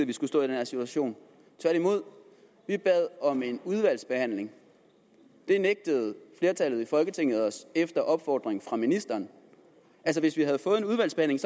vi skulle stå i den her situation tværtimod vi bad om en udvalgsbehandling det nægtede flertallet i folketinget os efter opfordring fra ministeren hvis vi havde fået en udvalgsbehandling